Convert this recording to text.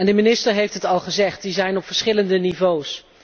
De minister heeft het al gezegd, die zijn er op verschillende niveaus.